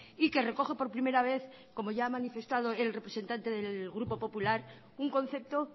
y que recoge por primera vez como ya ha manifestado el representante del grupo popular un concepto